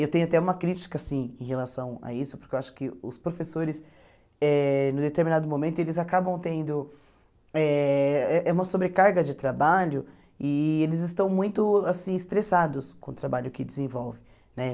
Eu tenho até uma crítica assim em relação a isso, porque eu acho que os professores, eh em determinado momento, acabam tendo eh é uma sobrecarga de trabalho e eles estão muito assim estressados com o trabalho que desenvolvem né.